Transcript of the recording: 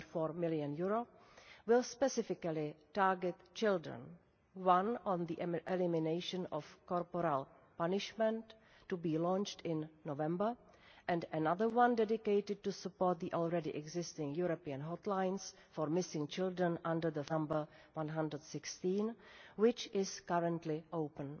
3.4 million, will specifically target children one on the elimination of corporal punishment, to be launched in November, and one dedicated to support the already existing European hotlines for missing children under the phone number 116, which is currently open.